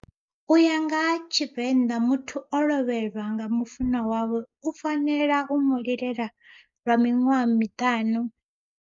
Uya ngaha tshivenḓa muthu o lovhelwa nga mufuṅwa wawe u fanela u mu lilela lwa miṅwaha miṱanu.